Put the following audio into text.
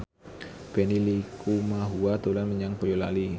Benny Likumahua dolan menyang Boyolali